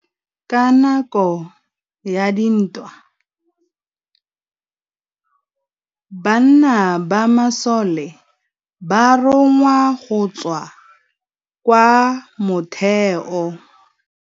Ka nakô ya dintwa banna ba masole ba rongwa go tswa kwa mothêô.